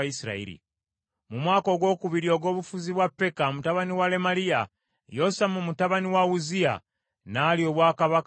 Mu mwaka ogwokubiri ogw’obufuzi bwa Peka mutabani wa Lemaliya, Yosamu mutabani wa Uzziya n’alya obwakabaka bwa Yuda.